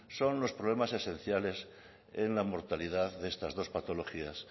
son los problemas esenciales en la mortalidad de estas dos patologías